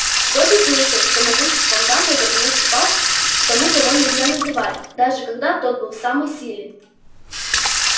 добби слышал что могуществом дамблдор не уступал тому кого нельзя называть даже когда тот был в самой силе